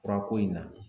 Furako in na